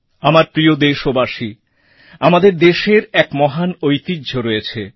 আমার প্রিয় দেশবাসী আমাদের দেশের এক মহান ঐতিহ্য রয়েছে